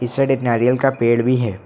Side एक नारियल का पेड़ भी है।